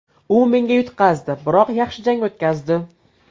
U menga yutqazdi, biroq yaxshi jang o‘tkazdi.